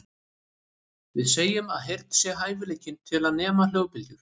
Við segjum að heyrn sé hæfileikinn til að nema hljóðbylgjur.